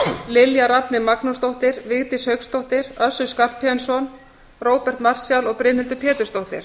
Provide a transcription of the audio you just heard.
lilja rafney magnúsdóttir vigdís hauksdóttir össur skarphéðinsson róbert marshall og brynhildur pétursdóttir